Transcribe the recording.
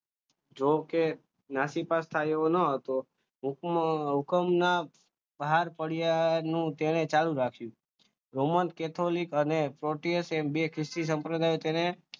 જોકે નાસીપાસ તેઓ ન હતો ટૂંકમાં હુકમના ભાર પડ્યાનો ચાલુ રાખી સંપ્રદાય તેને ખ્રિસ્તી બે ખ્રિસ્તી સંપ્રદાય